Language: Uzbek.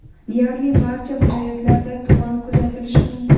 Deyarli barcha viloyatlarda tuman kuzatilishi mumkin.